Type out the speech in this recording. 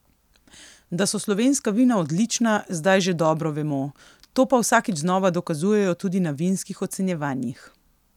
Da so slovenska vina odlična, zdaj že dobro vemo, to pa vsakič znova dokazujejo tudi na vinskih ocenjevanjih.